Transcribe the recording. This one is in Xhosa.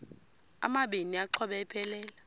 amabini exhobe aphelela